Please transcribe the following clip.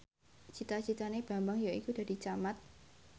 cita citane Bambang yaiku dadi camat